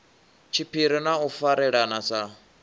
tshiphiri na u farelana sa